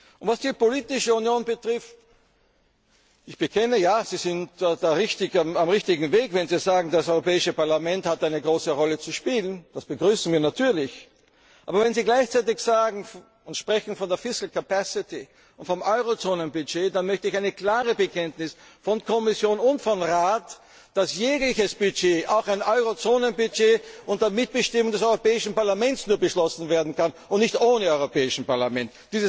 Und was die politische Union angeht Ich bekenne, ja, Sie sind da auf dem richtigen Weg, wenn Sie sagen, das Europäische Parlament hat eine große Rolle zu spielen. Das begrüßen wir natürlich. Aber wenn Sie gleichzeitig von einer fiscal capacity und vom Eurozonenbudget sprechen, dann möchte ich ein klares Bekenntnis von Kommission und Rat, dass jegliches Budget, auch ein Eurozonenbudget, nur unter Mitbestimmung des Europäischen Parlaments beschlossen werden kann, und nicht ohne Europäisches Parlament.